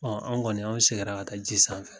Ɔ anw kɔni an sigira ka taa ji sanfɛ